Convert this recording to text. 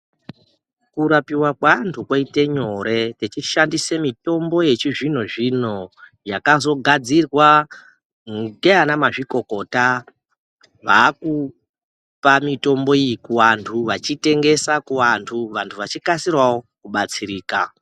Kurapiwa kwevantu koite nyore tichishandisa mitombo yechizvino zvino yakazogadzirwa ndivana mazvikokota vakupa mitombo iyi kuvantu vachitengesa kuvantu vantu vachikasirawo kubatsirika.